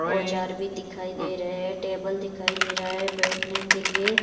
औजार भी दिखाई दे रहे हैं टेबल भी दिखाई दे रहा हैं बैठने के लिए--